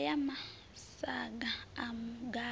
oda ya masaga a mugayo